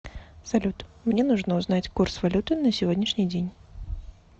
салют мне нужно узнать курс валюты на сегодняшний день